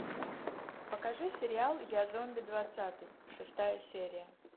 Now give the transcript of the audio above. покажи сериал я зомби двадцатый шестая серия